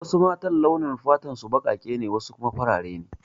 Wasu matan launin fatar su baƙaƙe ne wasu kuma farare ne